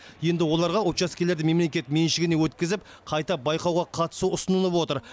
енді оларға учаскелерді мемлекет меншігіне өткізіп қайта байқауға қатысу ұсынылып отыр